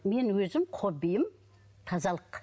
мен өзім хоббиім тазалық